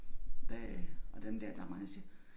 Det og dem der der mange der siger